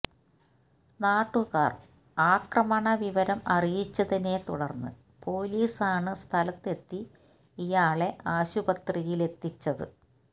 നാട്ടുകാര് ആക്രമണ വിവരം അറിയിച്ചതിനെ തുടര്ന്ന് പോലീസ് ആണ് സ്ഥലത്ത് എത്തി ഇയാളെ ആശുപത്രിയിലെത്തിച്ചത്